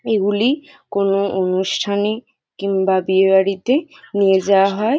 এগুলি কোন অনুষ্ঠানে কিংবা বিয়ে বাড়িতে নিয়ে যাওয়া হয়।